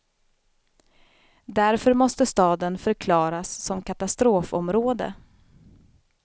Därför måste staden förklaras som katastrofområde.